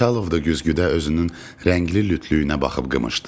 Xançalov da güzgüdə özünün rəngli lütlüyünə baxıb qımışdı.